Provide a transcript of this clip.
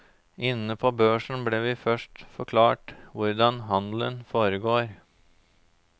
Inne på børsen ble vi først forklart hvordan handelen foregår.